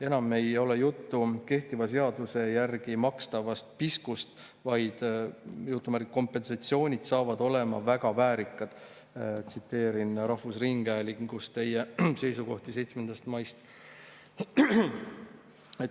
Enam ei ole juttu kehtiva seaduse järgi makstavast piskust, vaid "kompensatsioonid saavad olema väga väärikad" – tsiteerin ministri seisukohta, mis avaldati rahvusringhäälingus 7. mail.